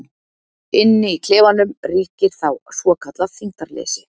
Inni í klefanum ríkir þá svokallað þyngdarleysi.